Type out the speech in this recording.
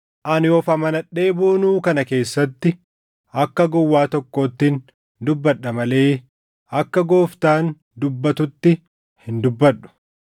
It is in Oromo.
Ani of amanadhee boonuu kana keessatti akka gowwaa tokkoottin dubbadha malee akka Gooftaan dubbatutti hin dubbadhu.